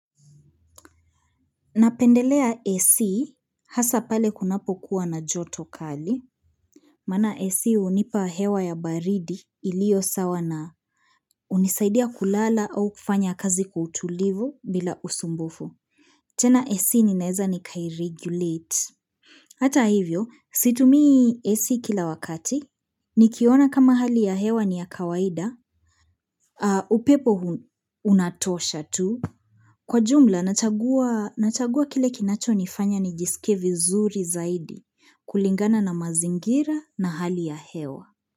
Napendelea AC hasa pale kunapo kuwa na joto kali. Maana AC hunipa hewa ya baridi iliyo sawa na unisaidia kulala au kufanya kazi kwa utulivu bila usumbufu. Tena AC ninaeza nikairegulate. Hata hivyo, situmii AC kila wakati. Nikiona kama hali ya hewa ni ya kawaida. Upepo unatosha tu. Kwa jumla, nachagua nachagua kile kinacho nifanya ni jisike vizuri zaidi kulingana na mazingira na hali ya hewa.